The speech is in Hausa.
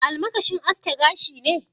Almakashin aske gashi ne?